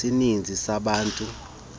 zesininzi sabantu uthathela